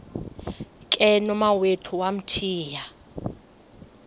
ke nomawethu wamthiya